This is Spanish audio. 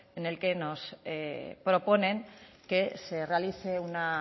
en el que nos proponen que se realice una